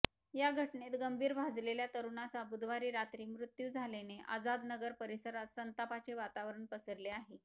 या घटनेत गंभीर भाजलेल्या तरुणाचा बुधवारी रात्री मृत्यू झाल्याने आझादनगर परिसरात संतापाचे वातावरण पसरले आहे